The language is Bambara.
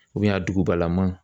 a dugubalama